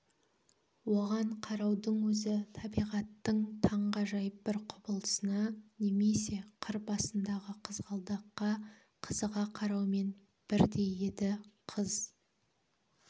оған қараудың өзі табиғаттың таңғажайып бір құбылысына немесе қыр басындағы қызғалдаққа қызыға қараумен бірдей еді қыз